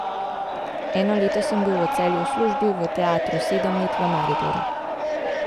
Eno leto sem bil v Celju v službi v teatru, sedem let v Mariboru.